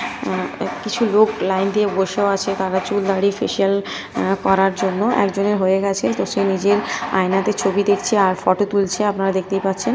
উ কিছু লোক লাইন দিয়ে বসেও আছে। তারা চুল দাড়ি ফেসিয়াল করার জন্য একজনের হয়ে গেছে তো সে নিজের আয়নাতে ছবি দেখছে আর ফটো তুলছে আপনারা দেখতেই পাচ্ছেন ।